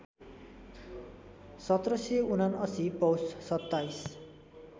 १७७९ पौष २७